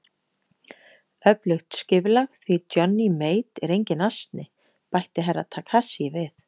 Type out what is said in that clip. Öflugt skipulag, því Johnny Mate er enginn asni, bætti Herra Takashi við.